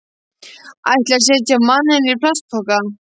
Ætliði að setja manninn í plastpoka?